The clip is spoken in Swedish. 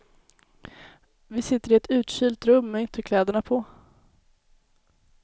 Vi sitter i ett utkylt rum med ytterkläderna på.